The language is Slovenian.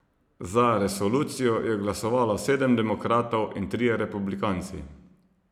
Za resolucijo je glasovalo sedem demokratov in trije republikanci.